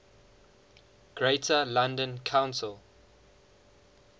greater london council